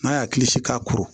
N'a y'a hakili si k'a kuru